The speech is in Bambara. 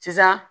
Sisan